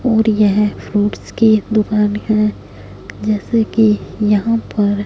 और यह फ्रूट्स की दुकान है जैसे कि यहां पर--